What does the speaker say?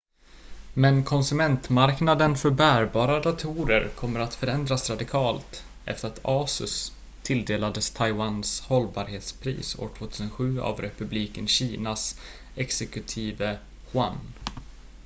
men konsumentmarknaden för bärbara datorer kommer att förändras radikalt efter att asus tilldelades taiwans hållbarhetspris år 2007 av republiken kinas executive yuan